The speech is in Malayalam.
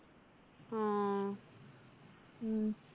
ആ ഉം